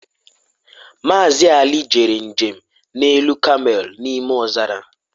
Mazị Ali jere njem n'elu kamel n'ime ọzara